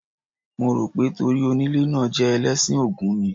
Mo rò pé torí onílé náà jẹ́ Ẹlẹ́sìn Ògún ni.